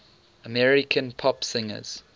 american pop singers